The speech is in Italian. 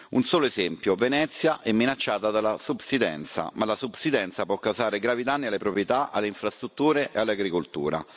Un solo esempio Venezia è minacciata dalla subsidenza. La subsidenza può causare gravi danni alle proprietà, alle infrastrutture e all'agricoltura.